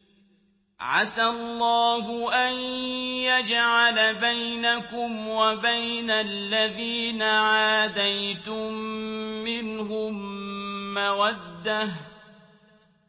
۞ عَسَى اللَّهُ أَن يَجْعَلَ بَيْنَكُمْ وَبَيْنَ الَّذِينَ عَادَيْتُم مِّنْهُم مَّوَدَّةً ۚ